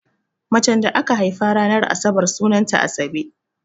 Macen da aka haifa ranar asabar sunanta Asabe.